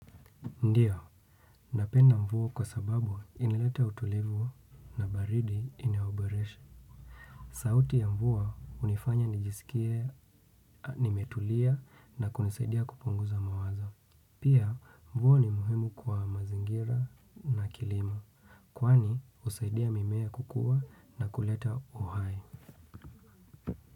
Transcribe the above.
Ndiyo, napenda mvua kwa sababu inaleta utulivu na baridi inayo boresha. Sauti ya mvua hunifanya nijisikie nimetulia na kunisaidia kupunguza mawazo. Pia mvua ni muhimu kwa mazingira na kilimo. Kwani husaidia mimea kukua na kuleta uhai.